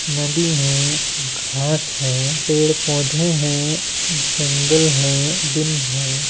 नदी है घास है पेड़ पौधे है जंगल है दिन है।